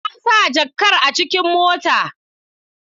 Na sa jakar a cikin mota.